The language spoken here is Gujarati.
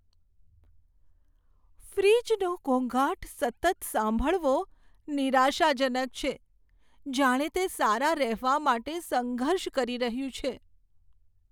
ફ્રીજનો ઘોંઘાટ સતત સાંભળવો નિરાશાજનક છે, જાણે તે સારા રહેવા માટે સંઘર્ષ કરી રહ્યું છે.